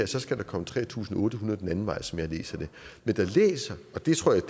så skal komme tre tusind otte hundrede den anden vej som jeg læser det men jeg læser og det tror jeg